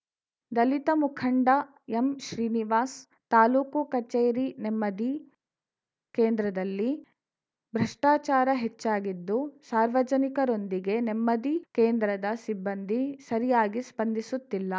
ದಲಿತ ಮುಖಂಡ ಎಂಶ್ರೀನಿವಾಸನ್‌ ತಾಲೂಕು ಕಚೇರಿ ನೆಮ್ಮದಿ ಕೇಂದ್ರದಲ್ಲಿ ಭ್ರಷ್ಟಾಚಾರ ಹೆಚ್ಚಾಗಿದ್ದು ಸಾರ್ವಜನಿಕರೊಂದಿಗೆ ನೆಮ್ಮದಿ ಕೇಂದ್ರದ ಸಿಬ್ಬಂದಿ ಸರಿಯಾಗಿ ಸ್ಪಂದಿಸುತ್ತಿಲ್ಲ